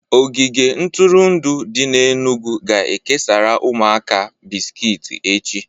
Ogige ntụrụndụ dị n'Enugwu ga-ekesara ụmụaka bisikiti echị